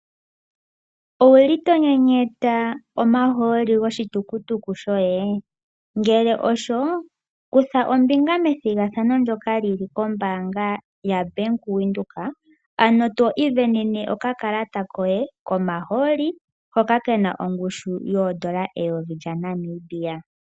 Owuli tonyenyeta omahooli goshitukutuku shoye? Ngele osho, kutha ombinga methigathano ndyoka lyili kombaanga yaWindhoek, ano to isindanene okakalata koye komahooli hoka kena ongushu yoondola 1000 lyaNamibia.